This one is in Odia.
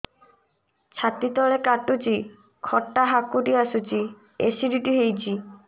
ଛାତି ତଳେ କାଟୁଚି ଖଟା ହାକୁଟି ଆସୁଚି ଏସିଡିଟି ହେଇଚି